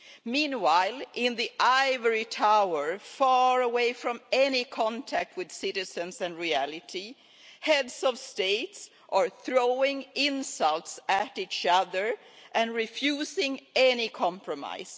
Meanwhile, in the ivory tower far away from any contact with citizens and reality, Heads of State are throwing insults at each other and refusing any compromise.